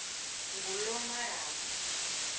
ngulomarabu